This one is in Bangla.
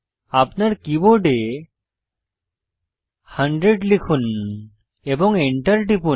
আপনার কীবোর্ড 100 লিখুন এবং enter টিপুন